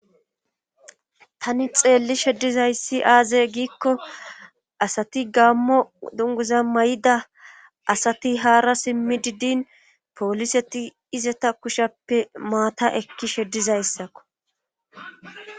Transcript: Tani xeelli sheddizayssi aazey giikko asati gaammo dunguza may7ida asati haara simmi diddin pooliseti izata kushappe maata ekki sheddizayssakko